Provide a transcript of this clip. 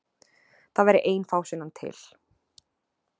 Það væri ein fásinnan til.